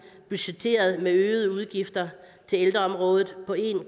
budgetteret med øgede udgifter til ældreområdet på en